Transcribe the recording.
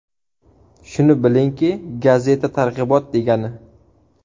Shuni bilingki, gazeta targ‘ibot degani.